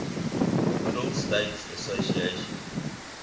middle states association